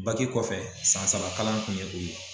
Baki kɔfɛ san saba kalan kun ye o ye